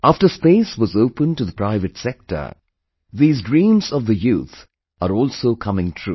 After space was opened to the private sector, these dreams of the youth are also coming true